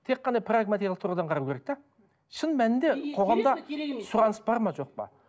тек қана прагматиялық тұрғыдан қарау керек те шын мәнінде қоғамда сұраныс бар ма жоқ па